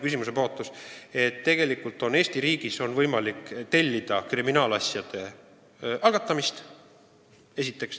Esiteks, et tegelikult on Eesti riigis võimalik tellida kriminaalasjade algatamist.